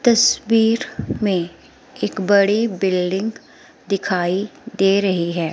तस्वीर में एक बड़ी बिल्डिंग दिखाई दे रही है।